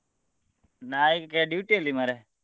ನಾ ಈಗ duty ಅಲ್ಲಿ ಮಾರ್ರೆ.